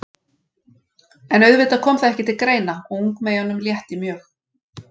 En auðvitað kom það ekki til greina og ungmeyjunum létti mjög.